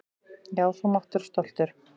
Já, þú mátt vera stoltur.